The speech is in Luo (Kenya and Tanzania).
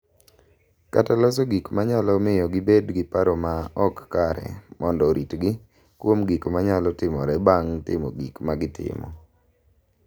Kata loso gik ma nyalo miyo gibed gi paro ma ok kare mondo oritgi kuom gik ma nyalo timore bang’ timo gik ma gitimo.